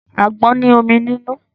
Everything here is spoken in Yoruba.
Àgbọn ní omi nínú.